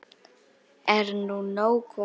Er nú nóg komið?